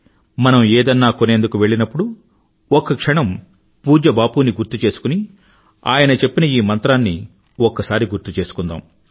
మనం ఏదన్న కొనేందుకు వెళ్ళినప్పుడు ఒక్క క్షణం పూజ్య బాపూ ని గుర్తు చేసుకుని ఆయన చెప్పిన ఈ మంత్రాన్ని ఒక్కసారి గుర్తుచేసుకుందాం